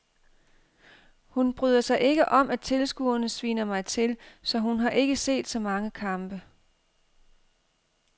Hun bryder sig ikke om at tilskuerne sviner mig til, så hun har ikke set så mange kampe.